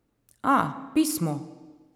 A, pismo!